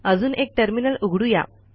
अजून एक टर्मिनल उघडू या